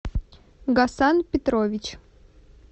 гасан петрович